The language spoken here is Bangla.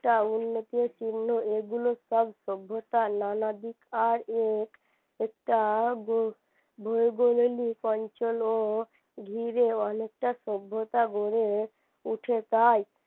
তা উন্নতির চিহ্ন এগুলো সব সভ্যতার নানাদিক আর এক একটা ভৌগোলিক অঞ্চল ও ঘিরে অনেকটা সভ্যতা গড়ে উঠে তাই